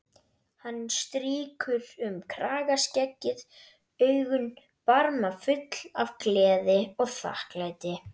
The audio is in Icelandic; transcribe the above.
Hann strýkur um kragaskeggið, augun barmafull af gleði og þakklæti.